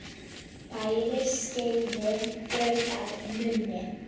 Færir skeiðin graut að munni.